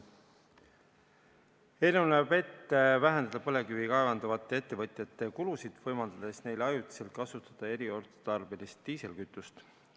Eelnõu näeb ette vähendada põlevkivi kaevandavate ettevõtjate kulusid, võimaldades neil ajutiselt kasutada eriotstarbelist diislikütust.